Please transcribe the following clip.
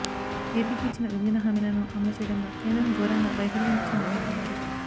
ఏపీకి ఇచ్చిన విభజన హామీలను అమలు చేయడంలో కేంద్రం ఘోరంగా వైఫల్యం చెందిందన్నారు